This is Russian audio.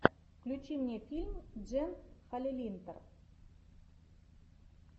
включи мне фильм джен халилинтар